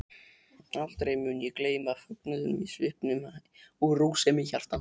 Aldrei mun ég gleyma fögnuðinum í svipnum og rósemi hjartans.